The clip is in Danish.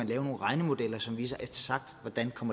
lave nogle regnemodeller som viser eksakt hvordan